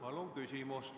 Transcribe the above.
Palun küsimus!